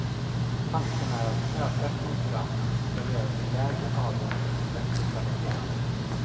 Tanken är att ökad konkurrens ska leda till lägre avgifter och bättre kvalitet.